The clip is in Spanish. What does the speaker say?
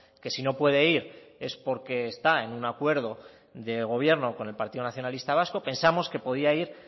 que si no puede ir es porque está en un acuerdo de gobierno con el partido nacionalistas vasco pensamos que podía ir